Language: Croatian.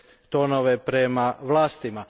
tonove prema vlastima.